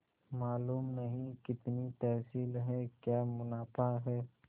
मालूम नहीं कितनी तहसील है क्या मुनाफा है